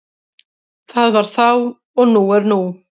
Það var þá og nú er nú.